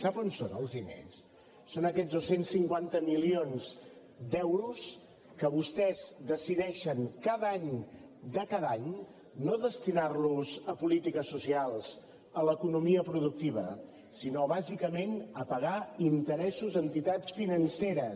sap on són els diners són aquests dos cents i cinquanta milions d’euros que vostès decideixen cada any de cada any no destinar los a polítiques socials a l’economia productiva sinó bàsicament a pagar interessos a entitats financeres